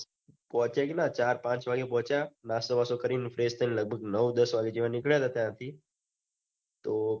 પોચ્યા કેટલા ચાર પાચ વાગે પહોચ્યા નાસ્તો બાસતો કરીન fresh થઈને લગભગ નવું દસ વાગે જેવા નીકળ્યા ને ત્યાંથી તો